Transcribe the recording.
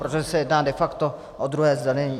Protože se jedná de facto o druhé zdanění.